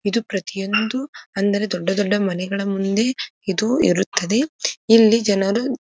ಇದು ಪ್ರತಿಯೊಂದು ಅಂದರೆ ದೊಡ್ಡ ದೊಡ್ಡ ಮನೆಗಳ ಮುಂದೆ ಇದು ಇರುತ್ತದೆ ಇಲ್ಲಿ ಜನರು --